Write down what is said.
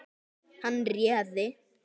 Hann réði.